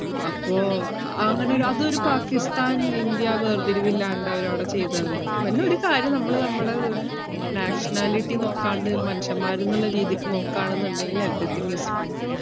അപ്പോ അങ്ങനെ ഒര് അതൊര് പാക്കിസ്ഥാൻ ഇന്ത്യാ വേർതിരിവ് ഇല്ലാണ്ട് അവര് അവിടെ ചെയ്തത്. പി~ പിന്ന ഒരു കാര്യം നമ്മള് നമ്മടോര് nationality നോക്കാണ്ട് മനുഷ്യന്മാരെന്നുള്ള രീതിക്ക് നോക്കാണെന്നുണ്ടെങ്കിൽ everything is fine